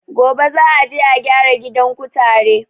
Gobe za a je a gyara gidan kutare